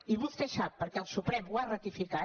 i vostè sap perquè el suprem ho ha ratificat